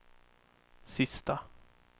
sista